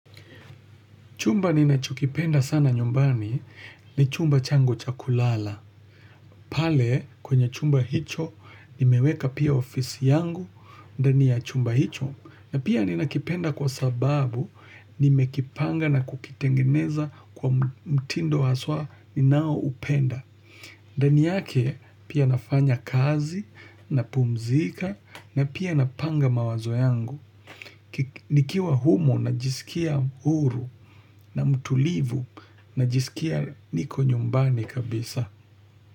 Chumba ninachokipenda sana nyumbani ni chumba changu cha kulala. Pale kwenye chumba hicho nimeweka pia ofisi yangu ndani ya chumba hicho, na pia ninakipenda kwa sababu nimekipanga na kukitengeneza kwa mtindo haswa ninaoupenda. Ndani yake pia nafanya kazi, napumzika, na pia napanga mawazo yangu. Nikiwa humo najisikia huru na mtulivu, najisikia niko nyumbani kabisa.